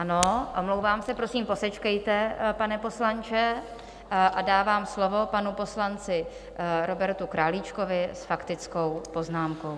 Ano, omlouvám se, prosím posečkejte, pane poslanče, a dávám slovo panu poslanci Robertu Králíčkovi s faktickou poznámkou.